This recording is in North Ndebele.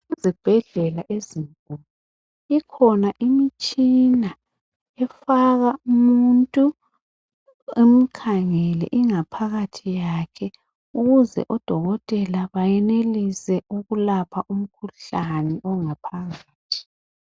Ezibhedlela ezinkulu ikhona imitshina efaka umuntu imkhangele ingaphakathi yakhe ukuze odokotela bayenelise ukulapha umkhuhlane ongaphakathi.